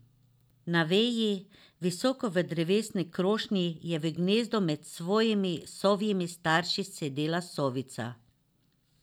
Na veji, visoko v drevesni krošnji, je v gnezdu med svojimi sovjimi starši sedela sovica.